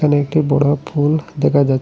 একটি বড় পুল দেখা যা--